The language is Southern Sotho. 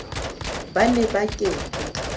ba ne ba ke ke